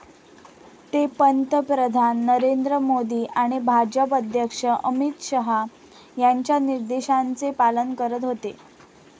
ते पंतप्रधान नरेंद्र मोदी आणि भाजप अध्यक्ष अमित शहा यांच्या निर्देशांचे पालन करत होते.